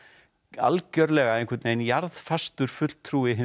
algjörlega einhvern veginn jarðfastur fulltrúi hinna